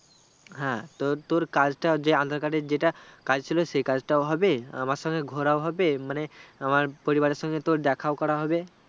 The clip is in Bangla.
হ্যাঁ, তো তুর কাজটা যে aadhar card যেটা কাজছিলো সেই কাজটাও হবে আমার সংঘে ঘোড়াও হবে মানে আমার পরিবারের সংঘে তোর দেখা করাও হবে